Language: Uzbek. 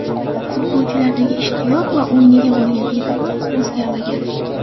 Futbolchilardagi ishtiyoq va o‘yinga bo‘lgan e’tibor o‘zgarmagan.